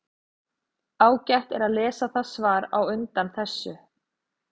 Ágætt er að lesa það svar á undan þessu.